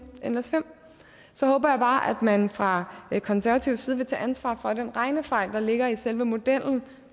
nles5 så håber jeg bare man fra konservativ side vil tage ansvar for at den regnefejl der ligger i selve i modellen